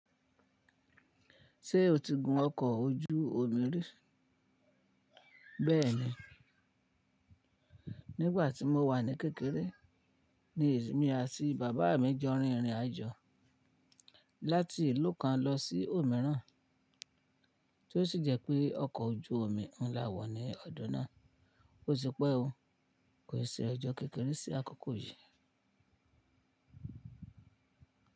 Ṣé o ti gun ọkọ̀ ojú omi rí? Bẹ́ẹ̀ni, nígbà tí mo wà ní kékeré ni èmi àti bàbá mi jọ rìn ìrìnàjò láti ìlú kan lọ sí òmíràn. Tó sì jẹ́ pé ọkọ̀ ojú omi ń la wọ̀ ní ọdún náà. Ó ti pẹ́ o, kò se rí ọjọ́ kékeré sí àkókò yìí.